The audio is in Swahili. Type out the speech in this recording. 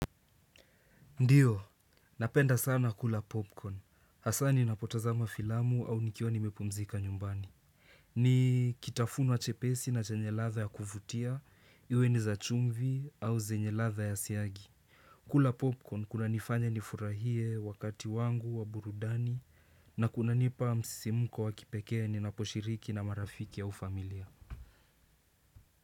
Ndiyo, napenda sana kula popcorn. Hasani napotazama filamu au nikiwa nimepumzika nyumbani. Nikitafuno chepesi nachenye ladha ya kuvutia, iwe ni za chumvi au zenye ladha ya siagi. Kula popcorn kuna nifanya nifurahie wakati wangu wa burudani na kunanipa msimuko wakipekee ninaposhiriki na marafiki ya ufamilia.